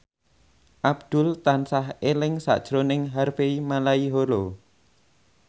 Abdul tansah eling sakjroning Harvey Malaiholo